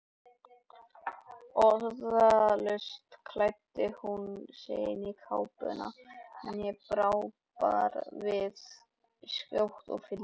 Orðalaust klæddi hún sig í kápuna, en ég brá við skjótt og fylgdi henni.